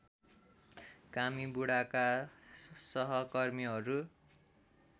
कामी बुढाका सहकर्मीहरू